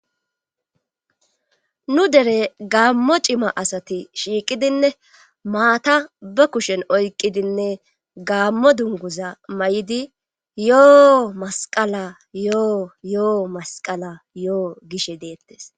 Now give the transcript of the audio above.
nu dere gaammo cima asati shiiqidinne maata be kushen oyqidinne gaammo dunguza mayidi yoo masqala yoo yoo masqala yoo gishe deettes.